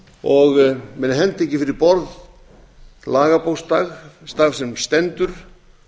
og menn henda ekki fyrir borð lagabókstaf sem stendur